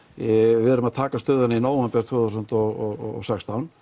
við erum að taka stöðuna í nóvember tvö þúsund og sextán